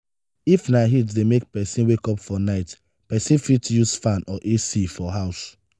if na heat dey make person wake up for night person fit use fan or ac for house